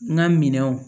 N ka minɛnw